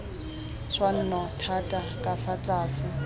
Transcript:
tshwanno thata ka fa tlase